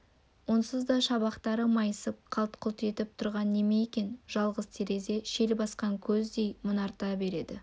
онсыз да шабақтары майысып қалт-құлт етіп тұрған неме екен жалғыз терезе шел басқан көздей мұнарта берді